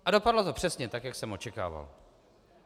A dopadlo to přesně tak, jak jsem očekával.